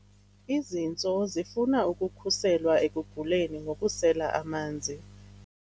Izintso zifuna ukukhuselwa ekuguleni ngokusela amanzi.